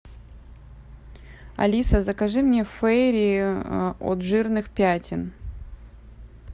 алиса закажи мне фейри от жирных пятен